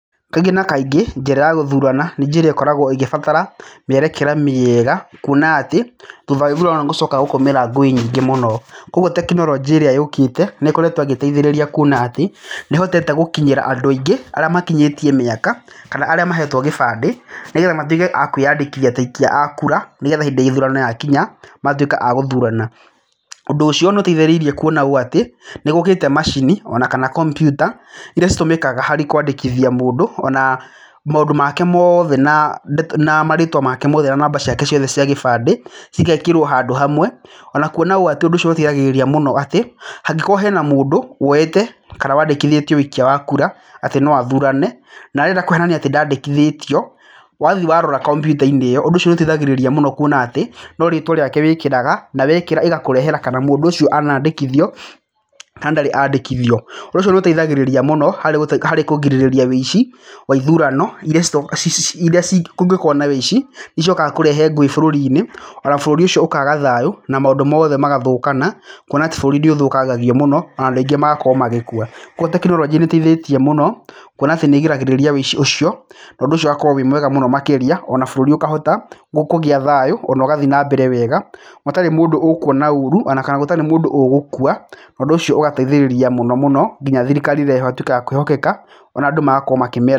Kaingĩ na kaingĩ njĩra ya gũthurana nĩ njĩra ĩkoragwo ĩgĩbatara mĩerekere mĩeega kuona atĩ thutha wa ithurano nĩgũcokaga gũkaumĩra ngũĩ nyingĩ mũno. Kwoguo teknolojĩ ĩrĩa yũkĩte nĩĩkoretwo ĩgĩteithĩrĩria kuona atĩ nĩĩhotete gũkinyĩra andũ aingĩ arĩa makinyĩtie mĩaka kana arĩa mahetwo gĩbandĩ nĩgetha matwĩke a kwiyandĩkithia ta aikia a kura, nĩgetha hĩndĩ ya ithurano yakinya magatwĩka a gũthurana. Ũndũ ũcio nĩũteithĩrĩirie kuona ũũ atĩ nĩgũũkĩte macini ona kana komputa iria citũmĩkaga harĩ kwandĩkithia mũndũ ona maũndũ make moothe na ndeto na marĩtwa make mothe ona namba ciake ciothe cia gĩbandĩ cigekĩrwo handũ hamwe ona kwona ũũ atĩ ũndũ ũcio nĩũteithagĩrĩria mũno atĩ hangĩkorwo hena mũndũ woete kana wandĩkithĩtio ũikia wa kũra atĩ no athurane na arenda kũhenania atĩ ndandĩkithĩtio wathiĩ warora komputa-inĩ ĩyo ũndũ ũcio nĩũteithagĩrĩria mũno kwona atĩ no rĩtwa rĩake wĩkĩraga na wekĩra ĩgakũrehera kana mũndũ ũcio ana andĩkithio kana ndarĩ andĩkithio. Ũnduũ ũcio nĩũteithagĩrĩria mũno harĩ gũte kũgirĩrĩria ũici wa ithurano iria citu ci ci iria ci kũngĩkorwo na ũici wa kũrehe ngũĩ bũrũri-inĩ na bũrũri ũcio ũkaaga thayũ na maũndũ moothe magathũkana kwona atĩ bũrũri nĩũthũkangagio mũno na andũ aingĩ magakorwo magĩkua kwoguo teknolojĩ nĩĩteithĩtie mũno kwona atĩ nĩĩgiragĩrĩria ũici ũcio na ũndũ ũcio ugakorwo wĩ mwega mũno makĩria ona bũrũri ũkahota gũ kũgĩa thayũ ona ũgathiĩ nambere wega hatarĩ mũndũ ũkũona ũũru ona kana gũtarĩ mũndũ ũgũkua na ũndũ ũcio ũgateithĩrĩria mũno mũnonginya thirikari ĩrĩa ĩho ĩgatwĩka ya kwĩhokeka na andũ magakorwo makĩmĩe...